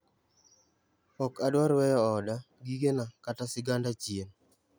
Ok adwar weyo oda, gigena, kata siganda chien'